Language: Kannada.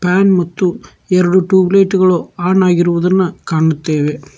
ಫ್ಯಾನ್ ಮತ್ತು ಎರಡು ಟ್ಯೂಬ್ ಲೈಟ್ ಗಳು ಆನ್ ಆಗಿರುವುದನ್ನ ಕಾಣುತ್ತೇವೆ.